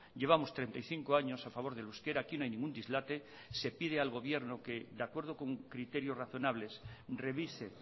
llevamos treinta y cinco años a favor del euskera aquí no hay ningún dislate se pide al gobierno que de acuerdo con criterios razonables revise